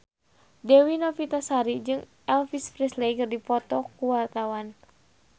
Dewi Novitasari jeung Elvis Presley keur dipoto ku wartawan